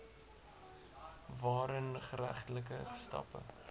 waarin geregtelike stappe